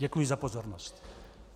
Děkuji za pozornost.